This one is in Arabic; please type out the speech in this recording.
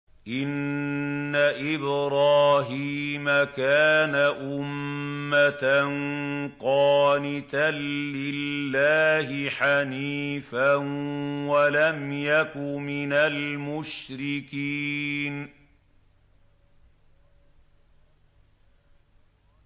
إِنَّ إِبْرَاهِيمَ كَانَ أُمَّةً قَانِتًا لِّلَّهِ حَنِيفًا وَلَمْ يَكُ مِنَ الْمُشْرِكِينَ